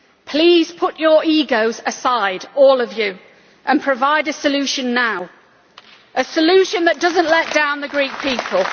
Please put your egos aside, all of you, and provide a solution now a solution that does not let down the Greek people.